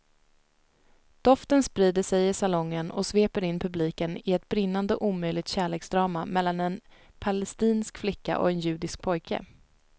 Doften sprider sig i salongen och sveper in publiken i ett brinnande omöjligt kärleksdrama mellan en palestinsk flicka och en judisk pojke.